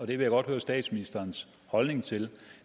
vil jeg godt høre statsministerens holdning til